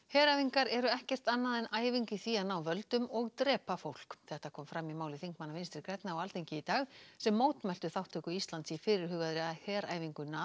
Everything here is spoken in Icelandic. heræfingar eru ekkert annað en æfing í því að ná völdum og drepa fólk þetta kom fram í máli þingmanna Vinstri grænna á Alþingi í dag sem mótmæltu þátttöku Íslands í fyrirhugaðri heræfingu